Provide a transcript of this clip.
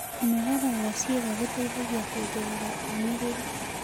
Kũnogora kwa ciĩga gũteĩthagĩa kũongerera ũmĩrĩrũ